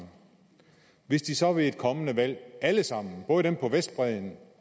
hvis de så ved et kommende valg alle sammen både dem på vestbredden